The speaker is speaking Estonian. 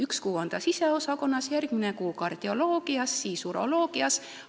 Üks kuu on inimene siseosakonnas, järgmine kuu kardioloogias, siis uroloogias.